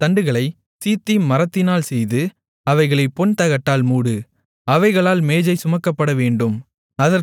அந்தத் தண்டுகளைச் சீத்திம் மரத்தினால் செய்து அவைகளைப் பொன்தகட்டால் மூடு அவைகளால் மேஜை சுமக்கப்படவேண்டும்